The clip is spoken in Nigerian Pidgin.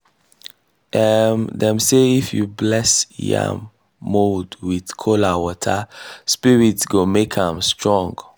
um dem say if you bless yam mound with kola water spirit go make am strong.